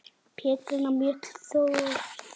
Petrína Mjöll þjónar.